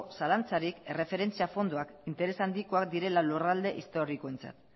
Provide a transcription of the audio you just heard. zalantzarik erreferentzia fondoak interes handikoa direla lurralde historikoentzat